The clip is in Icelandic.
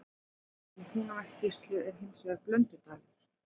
Í Húnavatnssýslu er hins vegar Blöndudalur.